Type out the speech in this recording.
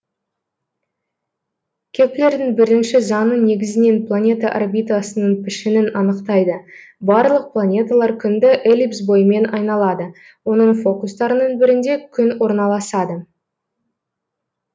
кеплердің бірінші заңы негізінен планета орбитасының пішінін анықтайды барлық планеталар күнді эллипс бойымен айналады оның фокустарының бірінде күн орналасады